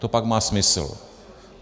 To pak má smysl.